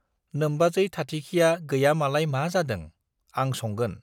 नोम्बाजै थाथिखिया गैया मालाय मा जादों, आं संगोन।